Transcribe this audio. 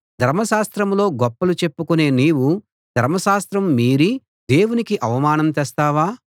ధర్మశాస్త్రంలో గొప్పలు చెప్పుకునే నీవు ధర్మశాస్త్రం మీరి దేవునికి అవమానం తెస్తావా